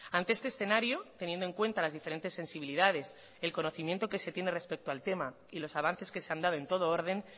ante este escenario teniendo en cuenta las diferentes sensibilidades el conocimiento que se tiene respecto al tema y los avances que se han dado en todo orden